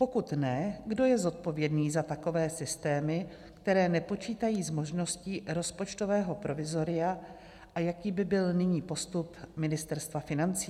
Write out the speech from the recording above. Pokud ne, kdo je zodpovědný za takové systémy, které nepočítají s možností rozpočtového provizoria a jaký by byl nyní postup Ministerstva financí?